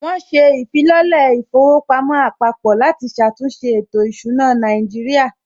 Wọn ṣe ìfilọ́lẹ̀ ilé īfowòpamó àpapò láti ṣàtúnṣe ètò ìsúná Nàíjírìà